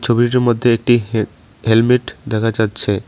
ছবিটির মধ্যে একটি হেল হেলমেট দেখা যাচ্ছে।